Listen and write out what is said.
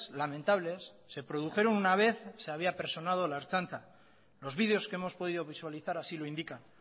lamentables se produjeron una vez se había personado la ertzaintza los vídeos que hemos podido visualizar así lo indican